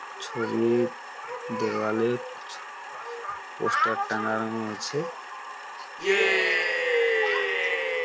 ছবির দেওয়ালে পোস্টার টাংগানো আছে।